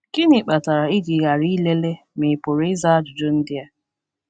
Gịnị kpatara i ji ghara ilele ma ị pụrụ ịza ajụjụ ndị a?